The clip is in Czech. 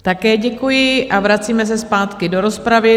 Také děkuji a vracíme se zpátky do rozpravy.